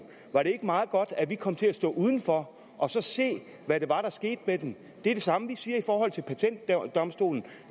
var meget godt at vi kom til at stå udenfor og se hvad det var der skete med den det er det samme vi siger i forhold til patentdomstolen